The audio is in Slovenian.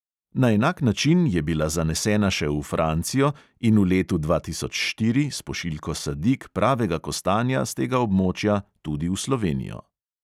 Na enak način je bila zanesena še v francijo in v letu dva tisoč štiri s pošiljko sadik pravega kostanja s tega območja tudi v slovenijo.